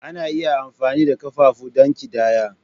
Ana iya amfani da ƙafafu don ƙidaya.